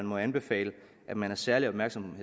må anbefales at man er særlig opmærksom